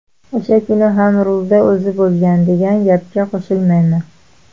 O‘sha kuni ham rulda o‘zi bo‘lgan, degan gapga qo‘shilmayman.